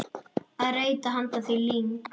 að reyta handa því lyng.